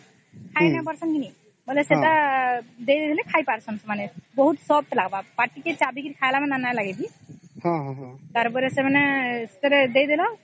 ଖାଇ ନାଇଁ ପର୍ସନ ନାଇଁ କି ସେଟା ଦେଇ ଦେଲା ଖାଇ ପରିସନ ବହୁତ soft ଲାଗିବ ପାଟି କି ଚାବି କି ଖାଇଲା ବୋଲେ କେ ନାଇଁ ଲାଗିବ କି ତାର ପରେସ ଏଟା ଦେଇ ଦେଲା